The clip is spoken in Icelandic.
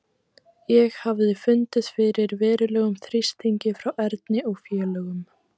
Ég hafði fundið fyrir verulegum þrýstingi frá Erni og félögum.